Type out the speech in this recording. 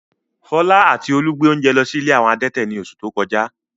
Fọlá àti Olú gbé oúnjẹ lọ sí ilé àwọn adẹ́tẹ̀ ní oṣù tó kọjá.